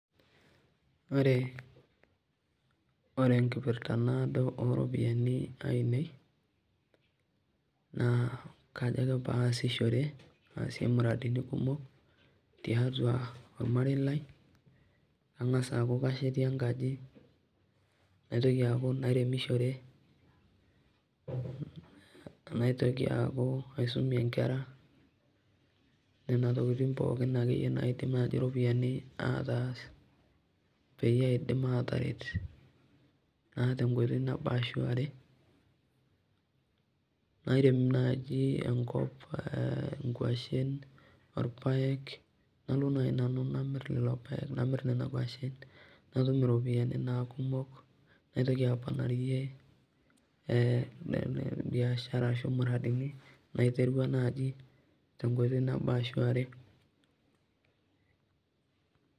Ore ore nkipirta nadoo e ropiani aineei naa kajoo ake paa asishore aasie muradini kumook te atua olmariei lai ang'aas aaku kaashiete nkaaji , naitooki aaku nairemishore naitokii aaku aisomie nkerra. Nenia ntokitin pooki naake enye naiidim ropiani aitaas peiyee aidiim ataaret naa te nkotoi naboo ashuu aare. Naeremuu naaji enkoop nkuashen olpaek naloo naa nanu namiir lelo lpaek namiir nenia nkuashen natuum ropiani naa kumook. Naitokii apoonarie eeh biashara asho muradini naiterua naadi te nkotoi naboo ashu aare.